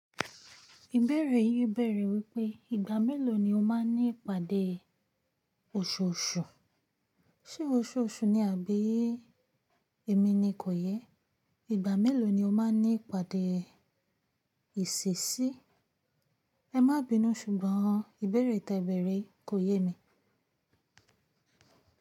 Ìbẹ̀rẹ̀ yìí bẹ̀rẹ̀ wípé ìgbà mélòó ni o máa ní ìpàdé òṣooṣù? Ṣé òṣooṣù ni àbí èmi ni kò yẹ? Ìgbà mélòó ni o máa ní ìpàdé ìṣesí? Ẹ má bínú ṣùgbọ́n ìbẹ̀rẹ̀ tẹ ìbẹ̀rẹ̀ kò yé mi.